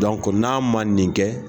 n'a man nin kɛ.